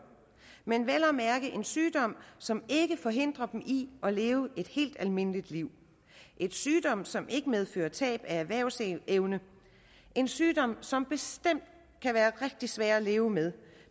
men vel at mærke en sygdom som ikke forhindrer dem i at leve et helt almindeligt liv en sygdom som ikke medfører tab af erhvervsevne en sygdom som bestemt kan være rigtig svær at leve med